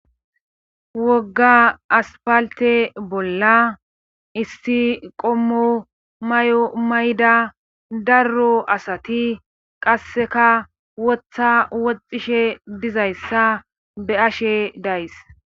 Wogga aspalte bolla isti qommomay7o mayda darro asati qasseka wotha woxishe dizayssa be ashe days.